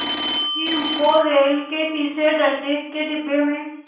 कि वो रेलवे के तीसरे दर्ज़े के डिब्बे में